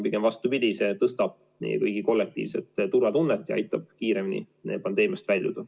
Pigem vastupidi, see tõstab meie kõigi kollektiivset turvatunnet ja aitab kiiremini pandeemiast väljuda.